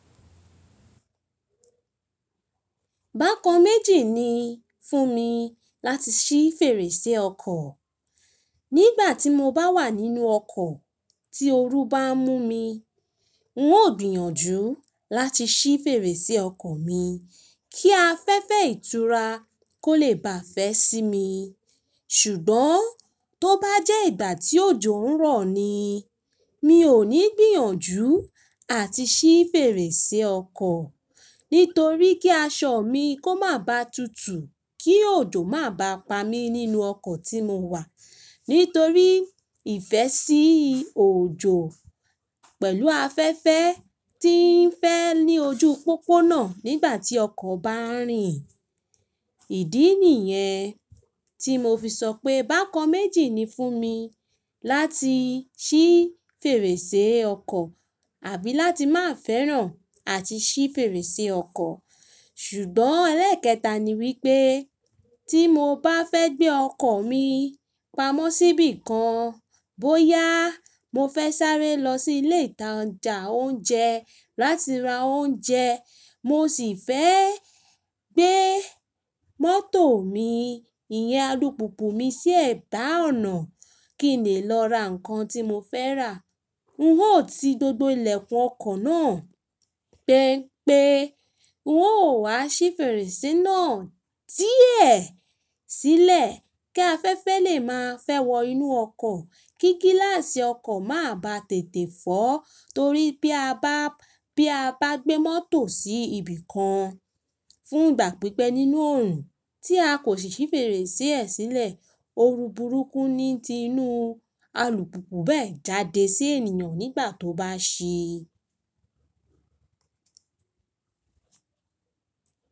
Bákan méjì ni fún mi láti ṣí fèrèsé ọkọ̀. Nígbà tí mo bá wà nínú ọkọ̀ tí ooru bá ń mú mi, n ó gbìyànjú láti ṣí fèrèsé ọkọ̀ mi kí afẹ́fẹ́ ìtura kó lè baà fẹ́ sí mi. Ṣùgbọ́n tó bá jẹ́ ìgbà tí òjò ń rọ̀ ni, mi ò ní gbìyànjú àti ṣí fèrèsé ọkọ̀ nítorí kí aṣọ mi kó má ba tutù kí òjò má ba pa mí nínú ọkọ̀ tí mo wà nítorí ìfẹ́sí òjò pẹ̀lú afẹ́fẹ́ tí ń fẹ́ ní ojú pópónà nígbà tí ọkọ̀ bá ń rìn. Ìdí nìyẹn tí mo fi sọ pé bákan méjì ni fún mi láti ṣí fèrèsé ọkọ̀ àbí láti má fẹ́ràn àti ṣí fèrèsé ọkọ̀. Ṣùgbọ́n ẹlẹ́ẹ̀kẹta ni wípé tí mo bá fẹ́ gbé ọkọ̀ mi pamọ́ síbì kan, bóyá mo fẹ́ sáré lọ sí ilé ìtajà oúnjẹ láti ra oúnjẹ, mo sì fẹ́ gbé mọ́tò mi, ìyẹn alùpùpù mi sí ẹ̀bá ọ̀nà kí n lè lọ ra nǹkan tí mo fẹ́ rà. N ó ti gbogbo ilẹ̀kùn ọkọ̀ náà gbẹ́ pé ń ó wá ṣí fèrèsé náà díẹ̀ sílẹ̀ kí afẹ́fẹ́ lè máa fẹ́ wọ inú ọkọ̀, kí gíláàsì ọkọ̀ má ba tètè fọ́ torí bí a bá, bí a bá gbé mọ́tò sí ibìkan fún ìgbà pípẹ́ nínú òòrùn tí a kò sì ṣí fèrèsé ẹ̀ sílẹ̀, ooru burúkú níí ti inú alùpùpù bẹ́ẹ̀ jáde sí ènìyàn nígbà tó bá ṣí.